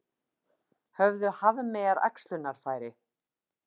Höfðu hafmeyjar æxlunarfæri?